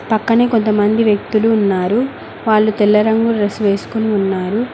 పక్కనే కొంతమంది వ్యక్తులు ఉన్నారు వాళ్ళు తెల్ల రంగు డ్రెస్ వేసుకొని ఉన్నారు.